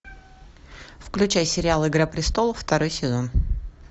включай сериал игра престолов второй сезон